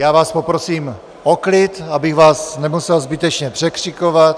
Já vás poprosím o klid, abych vás nemusel zbytečně překřikovat.